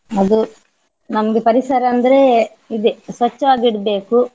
ಅದು ನಮ್ದು ಪರಿಸರ ಅಂದ್ರೆ ಇದೇ ಸ್ವಚ್ಚವಾಗಿ ಇಡ್ಬೇಕು.